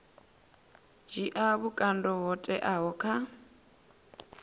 dzhia vhukando ho teaho kha